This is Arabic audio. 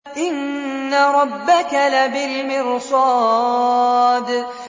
إِنَّ رَبَّكَ لَبِالْمِرْصَادِ